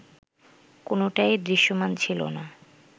কোনোটাই দৃশ্যমান ছিল না